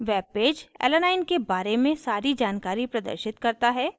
webpage alanine alanine के बारे में सारी जानकारी प्रदर्शित करता है